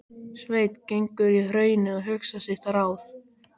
Sveinn gengur í hraunið og hugsar sitt ráð.